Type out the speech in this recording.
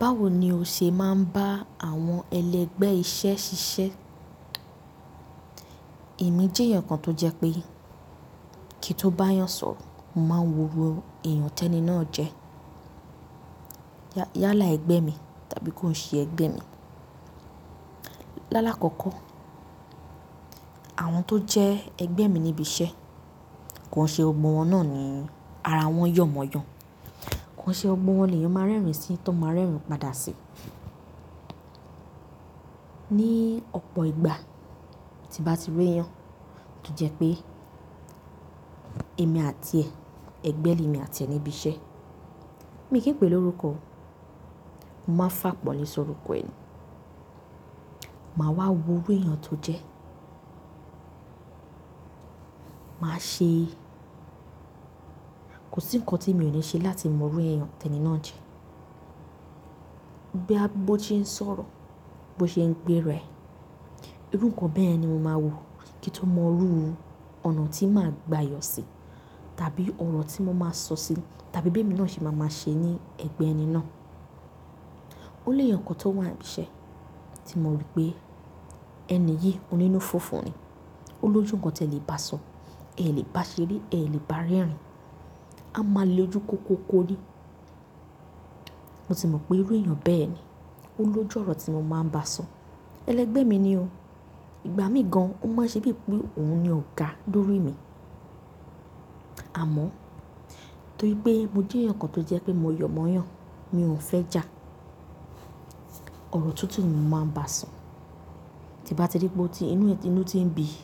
Báwo ni o ṣe máa ń bá àwọn ẹlẹgbẹ́ iṣẹ́ ṣiṣẹ́? Èmi jẹ́ èèyàn kan tó jẹ́ pé kí n tó bá yàn sọ̀rọ, mo máa n wo irú èèyàn tẹni náà jẹ́. Yálà ẹgbẹ́ mi tàbí kó n ṣe ẹgbẹ́ mi. Lálá kọ́kọ́, àwọn tó jẹ́ ẹgbẹ́ mi níbi iṣẹ́, ko n ṣe gbogbo wọn náà ni ara wọn yọ̀ mọ́ yàn. Ko n ṣe gbogbo wọn leyan máa rẹ́rìn-ín sí tán máa rẹ́rìn-ín padà sí. Ni ọ̀pọ̀ ìgbà tí bá ti rí èèyàn, ro jẹ́ pé èmi àti ẹ̀, ẹgbẹ́ ni emi àti ẹ̀ níbi iṣẹ́, mi kì í pè lórukọ o, mo máa n fàpọ̀nle si ọrúkọ ẹ nì. Màá wá wo irú èèyàn tó jẹ́. Màá ṣe, kò sí ǹkan tí mi ò le ṣe láti mọ irú èèyàn tẹni náà jẹ́. Bóyá bó ṣe n sọ̀rọ̀, bó ṣe ń gbéra ẹ, irú ǹkan bẹyẹn ni mo máa wo kí n tó mọ irú ọ̀nà tí màá gbà yọ̀ sí tàbí ọ̀rọ̀ tí mo máa sọ sí tàbí bí emi náà ṣe máa ma ṣe ní ẹgbẹ́ ẹni náà. Ó lèèyàn kan tó wà níbi iṣẹ́ tí mo rí pé ẹni yìí onínú fufu ni. Ó loju ǹkan tí ẹ lè bá sọ, ẹ lè bá ṣeré, ẹ lè bá rẹ́rìn-ín, a máa le ojú kókókó ni. Mo ti mọ̀ pé irú èèyàn bẹ́ẹ̀ ni. Ó lójú ọ̀rọ̀ tí mo máa ń bá sọ. Ẹlẹgbẹ́ mi ni o. Ìgbà mí gan, ó máa n ṣe bí i pé òun ni ọ̀gá lórí mi. Àmọ́, torí pé mo jẹ́ èèyàn kan tó jẹ́ pé mo yọ̀ mọ́ yàn, mi ò fẹ́ jà. Ọ̀rọ̀ tutu ni mo máa ń bá sọ. Ti n bá ti rí pé inú ti ń bí i,